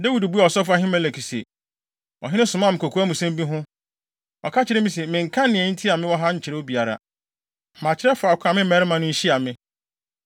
Dawid buaa ɔsɔfo Ahimelek se, “Ɔhene somaa me kokoamsɛm bi ho. Ɔka kyerɛɛ me se, mennka nea enti a mewɔ ha nkyerɛ obiara. Makyerɛ faako a me mmarima no nhyia me.